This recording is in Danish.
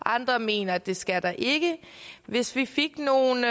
og andre mener at det skal der ikke hvis vi fik nogle